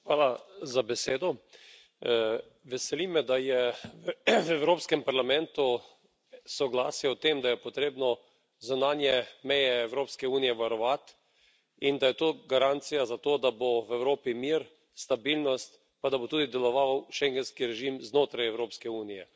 Gospod predsedujoči, veseli me, da je v Evropskem parlamentu soglasje o tem, da je potrebno zunanje meje Evropske unije varovati in da je to garancija za to, da bo v Evropi mir, stabilnost, pa da bo tudi deloval schengenski režim znotraj Evropske unije.